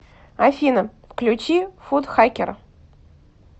афина включи футхакера